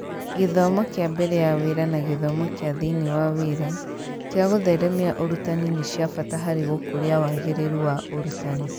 Gĩthomo kĩa mbere ya wĩra na gĩthomo kĩa thĩiniĩ wa wĩra kĩa gũtheremia ũrutani nĩ cia bata harĩ gũkũria wagĩrĩru wa ũrutani